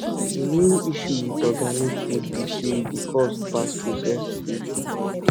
di main issue with organic food be sey e dey cost pass processed food